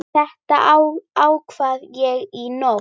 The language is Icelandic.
Þetta ákvað ég í nótt.